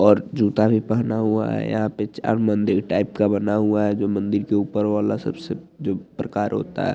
और जूता भी पहना हुआ है यहाँ पर चार मंदिर टाइप का बना हुआ है मंदिर के ऊपर वाला जो प्रकार होता है।